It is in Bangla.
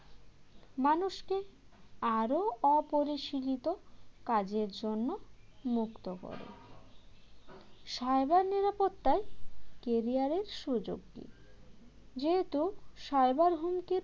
মানুষকে আরও অপরিশীলিত কাজের জন্য মুক্ত করো cyber নিরাপত্তায় career এর সুযোগ কি যেহেতু সরকার হুমকির